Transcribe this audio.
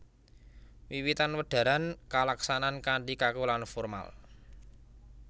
Wiwitan wedharan kalaksanan kanthi kaku lan formal